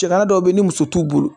Cɛkala dɔw bɛ yen ni muso t'u bolo